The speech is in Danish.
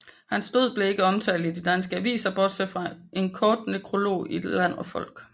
Hans død blev ikke omtalt i de danske aviser bortset fra en kort nekrolog i Land og Folk